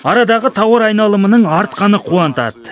арадағы тауар айналымының артқаны қуантады